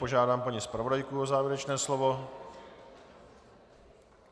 Požádám paní zpravodajku o závěrečné slovo.